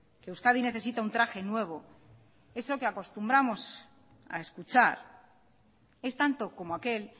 que euskadi necesita un traje nuevo eso que acostumbramos a escuchar es tanto como aquel